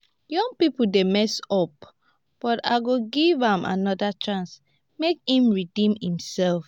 young people dey mess up but i go give am another chance make im redeem himself